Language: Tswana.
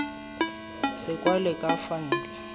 se kwalwe ka fa ntle